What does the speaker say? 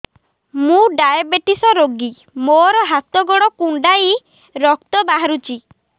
ମୁ ଡାଏବେଟିସ ରୋଗୀ ମୋର ହାତ ଗୋଡ଼ କୁଣ୍ଡାଇ ରକ୍ତ ବାହାରୁଚି